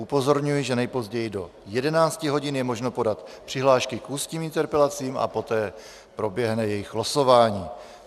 Upozorňuji, že nejpozději do 11 hodin je možno podat přihlášky k ústním interpelacím a poté proběhne jejich losování.